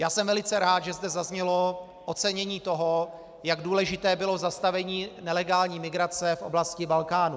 Já jsem velice rád, že zde zaznělo ocenění toho, jak důležité bylo zastavení nelegální migrace v oblasti Balkánu.